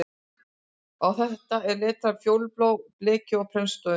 Á það var letrað fjólubláu bleki og prentstöfum